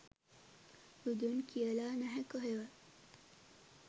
බුදුන් කියලා නැහැ කොහෙවත්